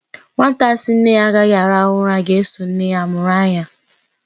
Nwata sị nne ya agaghị arahu ura ga-eso nne ya mụrụ anya.